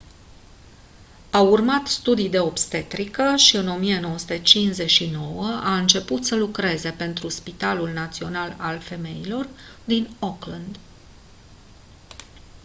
a urmat studii de obstetrică și în 1959 a început să lucreze pentru spitalul național al femeilor din auckland